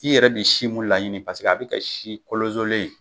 I yɛrɛ bi si mun laɲini paseke a bi kɛ si kolozolen ye